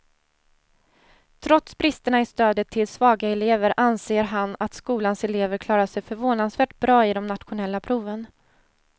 Trots bristerna i stödet till svaga elever anser han att skolans elever klarar sig förvånansvärt bra i de nationella proven.